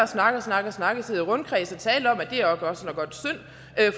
snakke og snakke og snakke og sidde i rundkreds og tale om